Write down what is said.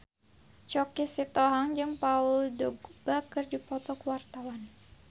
Choky Sitohang jeung Paul Dogba keur dipoto ku wartawan